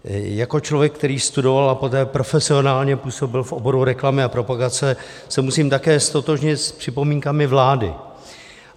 Jako člověk, který studoval a poté profesionálně působil v oboru reklamy a propagace se musím také ztotožnit s připomínkami vlády.